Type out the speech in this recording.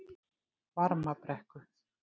Varmabrekku